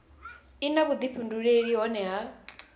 i na vhuifhinduleli hohe ha